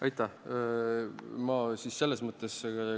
Aitäh!